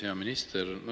Hea minister!